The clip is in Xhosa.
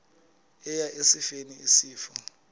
eya esifeni isifo